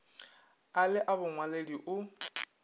a le a bongwaledi o